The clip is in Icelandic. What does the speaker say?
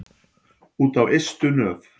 Út á ystu nöf.